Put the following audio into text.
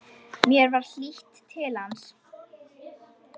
Mér var hlýtt til hans.